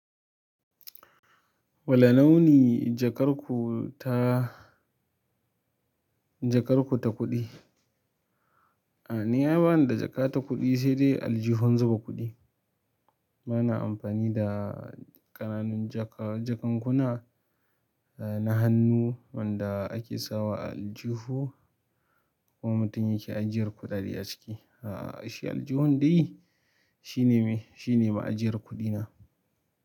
Wane launi jakar ku ta, jakar ku ta kuɗi? Ni ai bani da jaka ta kuɗi sai dai aljihun zuba kuɗi. Ba na amfani da ƙananun jaka, jakankuna na hannu wanda ake sawa a aljihu, ko mutum yake ajiyar kuɗaɗe a ciki. A'a, shi aljihun dai shi ne me, shi ne ma ajiyar kuɗina.